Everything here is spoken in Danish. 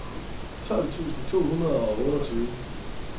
tolv tusind to hundrede og otteogtyve